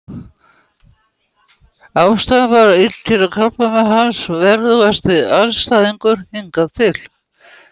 Ástæðan var illkynja krabbamein, hans verðugasti andstæðingur hingað til.